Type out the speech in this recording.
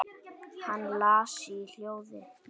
Hann las í hljóði: